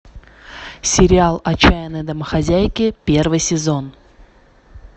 сериал отчаянные домохозяйки первый сезон